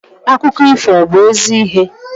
Akụkọ ifo ọ bu ezi ihe?